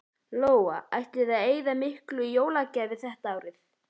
Lóa: Ætlið þið að eyða miklu í jólagjafir þetta árið?